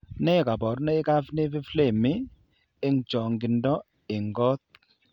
Nee kabarunoikab Nevi flammei, eng' chang'indo eng' kot.